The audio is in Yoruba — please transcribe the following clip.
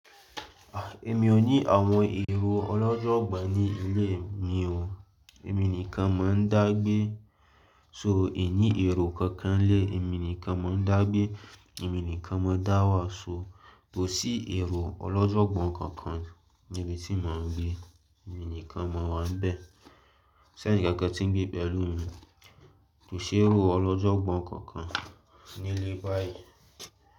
Ah! Èmi ò ní àwọn èrò ọlọ́jọ́gbà ní ilé mi o, èmi nìkan mo ń dá gbé. So, èmi ní èrò kankan lé, èmi nìkan mo ń dá gbé, èmi nìkan mo dá wà. So, kò sí èrò ọlọ́jọ́gbọ́n kankan níbi tí mò ń gbé, èmi nìkan mo wà níbẹ̀. Kò s'ẹ́ni kankan tí ń gbé pẹ̀lú mi. Kò sí èrò ọlọ́jọ́gbọ́n kankan ní ilé báyìí.